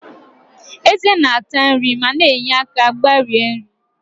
Ezé na-ata nri ma na-enye aka mgbari nri.